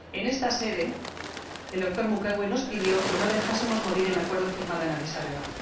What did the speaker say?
En esta sede, el doctor Mukwege nos pidió que no dejásemos morir el acuerdo firmado en Adís Abeba.